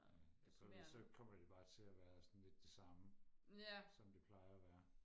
det så kommer det bare til og være sådan lidt det samme som det plejer og være